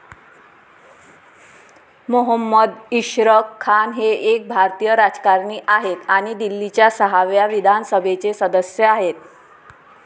मोहम्मद इशरक खान हे एक भारतीय राजकारणी आहेत आणि दिल्लीच्या सहाव्या विधानसभेचे सदस्य आहेत.